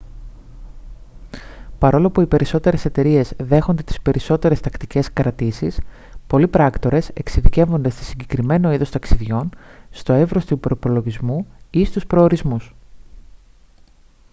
παρόλο που οι περισσότερες εταιρείες δέχονται τις περισσότερες τακτικές κρατήσεις πολλοί πράκτορες εξειδικεύονται σε συγκεκριμένο είδος ταξιδιών στο εύρος του προϋπολογισμού ή στους προορισμούς